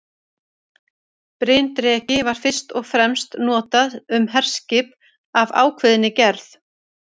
Bryndreki var fyrst og fremst notað um herskip af ákveðinni gerð.